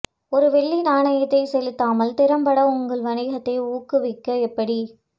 ஒரு வெள்ளி நாணயத்தை செலுத்தாமல் திறம்பட உங்கள் வணிகத்தை ஊக்குவிக்க எப்படி